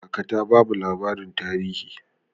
Kaka ta bamu labarin tarihi.